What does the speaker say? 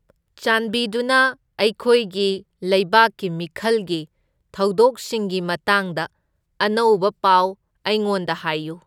ꯆꯥꯟꯕꯤꯗꯨꯅ ꯑꯩꯈꯣꯏꯒꯤ ꯂꯩꯕꯥꯛꯀꯤ ꯃꯤꯈꯜꯒꯤ ꯊꯧꯗꯣꯛꯁꯤꯡꯒꯤ ꯃꯇꯥꯡꯗ ꯑꯅꯧꯕ ꯄꯥꯎ ꯑꯩꯉꯣꯟꯗ ꯍꯥꯏꯌꯨ